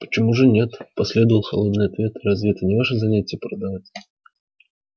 почему же нет последовал холодный ответ разве это не ваше занятие продавать